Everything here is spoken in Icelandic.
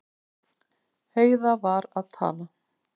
Heiða var að tala.